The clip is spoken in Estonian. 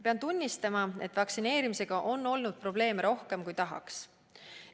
Pean tunnistama, et vaktsineerimisega on olnud probleeme rohkem, kui me eeldasime.